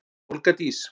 Olga Dís.